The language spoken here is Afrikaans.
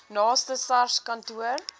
naaste sars kantoor